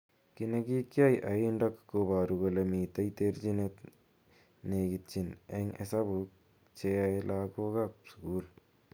Ki nekikiai aindok koboru kole mitei terjinet nekitin eng hesabuk cheyaei lakok ab sukul.